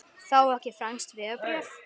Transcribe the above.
Fá ekki franskt vegabréf